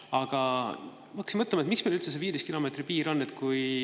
Aga ma hakkasin mõtlema, miks meil üldse see 15 kilomeetri piir on.